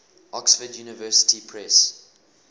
oxford university press